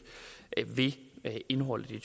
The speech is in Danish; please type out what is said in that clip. ved indholdet i